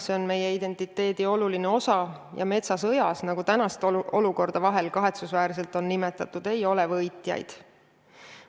See on meie identiteedi oluline osa ja metsasõjas, nagu tänast olukorda vahel kahetsusväärselt on nimetatud, ei ole võitjaid.